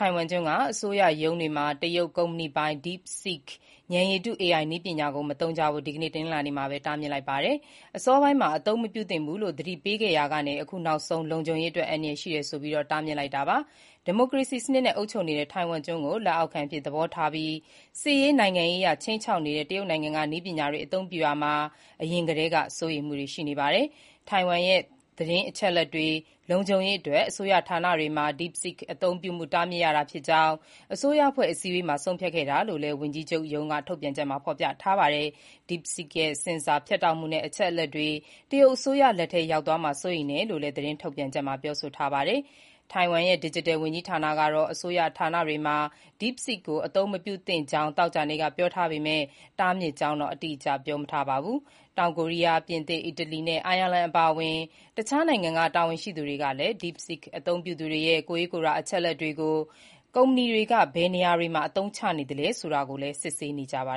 ိုင်ဝမ်ကျွန်းက အစိုးရရုံးတွေမှာ တရုတ်ကုမ္ပဏီပိုင် DeepSeek ဉာဏ်ရည်တု (AI) နည်းပညာကို မသုံးကြဖို့ ဒီကနေ့ တနင်္လာနေ့မှာ တားမြစ်လိုက်ပါတယ်။ အစောပိုင်းမှာ အသုံးမပြုသင့်ဘူးလို့ သတိပေးခဲ့ရာက အခုနောက်ဆုံး လုံခြုံရေးအတွက်အန္တရာယ်ရှိတယ်ဆိုပြီး တားမြစ်လိုက်တာပါ။ ဒီမိုကရေစီစနစ်နဲ့အုပ်ချုပ်နေတဲ့ တိုင်ဝမ်ကျွန်းကို လက်အောက်ခံအဖြစ်သဘောထားပြီး စစ်ရေး၊ နိုင်ငံရေးအရခြိမ်းခြောက်နေတဲ့ တရုတ်နိုင်ငံကနည်းပညာတွေအသုံးပြုရာမှာ အရင်ကတည်းက စိုးရိမ်မှုတွ ရှိနေပါတယ်။ တိုင်ဝမ်ရဲ့ သတင်းအချက်အလက်တွေလုံခြုံရေးအတွက် အစိုးရဌာနတွေမှာ DeepSeek အသုံးပြုမှု တားမြစ်ရတာဖြစ်ကြောင်း အစိုးရအဖွဲ့အစည်းအဝေးမှာ ဆုံးဖြတ်ခဲ့တာ လို့လည်း ဝန်ကြီးချုပ် Cho Jung-tai ရုံးက ထုတ်ပြန်ချက်မှာ ဖော်ပြထားပါတယ်။ DeepSeek ရဲ့ ဆင်ဆာ ဖြတ်တောက်မှုနဲ့ အချက်အလက်တွေ တရုတ်အစိုးရလက်ထဲရောက်သွားမှာ စိုးရိမ်ရတယ်လို့လည်း ထုတ်ပြန်ချက်မှာ ပြောဆိုထားတာပါ။ တိုင်ဝမ်ရဲ့ ဒစ်ဂျစ်တယ်ဝန်ကြီးဌာနကတော့ အစိုးရဌာနတွေမှာ DeepSeek ကို အသုံးမပြုသင့်ကြောင်း သောကြာနေ့ကပြောထားပေမဲ့ တားမြစ်ကြောင်းတော့ အတိအကျ ပြောမထားပါဘူး။ တောင်ကိုရီးယား၊ ပြင်သစ်၊ အီတလီနဲ့ အိုင်ယာလန်အပါအဝင် တခြားနိုင်ငံတွေက တာဝန်ရှိသူတွေကလည်း DeepSeek အသုံးပြုသူတွေရဲ့ ကိုယ်ရေးကိုယ်တာ အချက်အလက်တွေကို ကုမ္ပဏီက ဘယ်နေရာတွေမှာ အသုံးချနေသလဲဆိုတာ စစ်ဆေးနေကြပါ